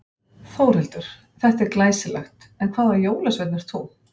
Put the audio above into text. Þórhildur: Þetta er glæsilegt en hvaða jólasveinn ert þú?